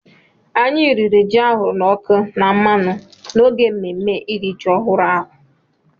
Anyị riri ji ahụrụ n’ọkụ na mmanụ n’oge mmemme iri ji ọhụrụ ahụ.